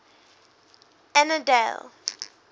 annandale